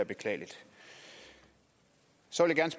beklageligt så